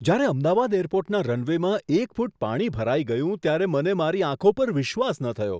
જ્યારે અમદાવાદ એરપોર્ટના રનવેમાં એક ફૂટ પાણી ભરાઈ ગયું ત્યારે મને મારી આંખો પર વિશ્વાસ ન થયો.